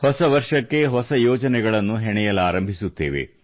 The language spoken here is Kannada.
ನವ ವರ್ಷಕ್ಕೆ ಹೊಸ ಯೋಜನೆಗಳನ್ನು ಹೆಣೆಯಲಾರಂಭಿಸುತ್ತೇವೆ